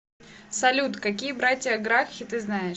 салют какие братья гракхи ты знаешь